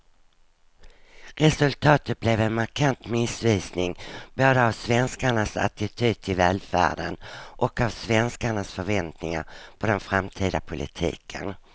Resultatet blir en markant missvisning både av svenskarnas attityd till välfärden och av svenskarnas förväntningar på den framtida politiken.